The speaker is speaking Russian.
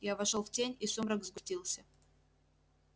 я вошёл в тень и сумрак сгустился